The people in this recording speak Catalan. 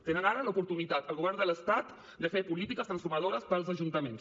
tenen ara l’oportunitat al govern de l’estat de fer polítiques transformadores per als ajuntaments